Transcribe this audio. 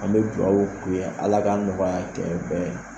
An bɛ dugawu k'u ye, Ala ka nɔgɔya kɛ bɛɛ